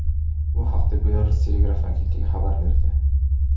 Bu haqda Belarus telegraf agentligi xabar berdi .